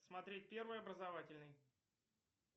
смотреть первый образовательный